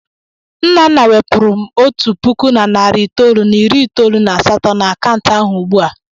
Nnanna wepụrụ m otu puku na narị itoolu na iri itoolu na asatọ n'akaụntụ ahụ ugbu a!